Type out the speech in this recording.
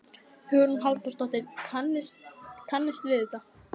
Hugrún Halldórsdóttir: Kannist við þetta?